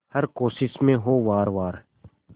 हर कोशिश में हो वार वार